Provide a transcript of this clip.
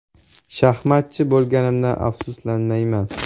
Shaxmatchi bo‘lganimdan afsuslanmayman.